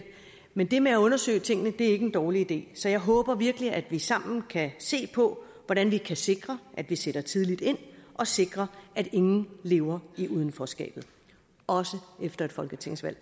men det med at undersøge tingene er ikke en dårlig idé så jeg håber virkelig at vi sammen kan se på hvordan vi kan sikre at vi sætter tidligt ind og sikre at ingen lever i udenforskabet også efter et folketingsvalg